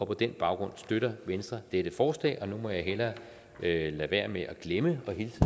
på den baggrund støtter venstre dette forslag nu må jeg hellere lade være med at glemme at hilse